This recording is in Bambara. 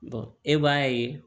e b'a ye